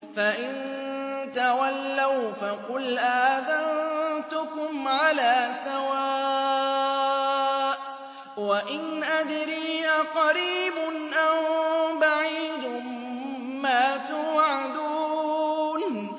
فَإِن تَوَلَّوْا فَقُلْ آذَنتُكُمْ عَلَىٰ سَوَاءٍ ۖ وَإِنْ أَدْرِي أَقَرِيبٌ أَم بَعِيدٌ مَّا تُوعَدُونَ